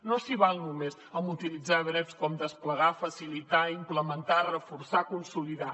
no s’hi val només a utilitzar verbs com desplegar facilitar implementar reforçar consolidar